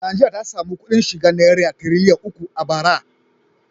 Najeriya ta sami kuɗin shiga naira tiriliyan uku a bara.